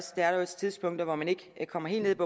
tidspunkter hvor man ikke kommer helt ned